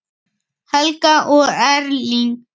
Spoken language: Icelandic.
Helga og Erling.